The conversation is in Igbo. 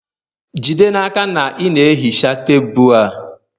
Jide n'aka na ị na-ehicha tebụl a